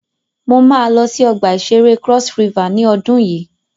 Mo máa lọ sí ọgbà ìṣẹré Cross River ní ọdun yìí.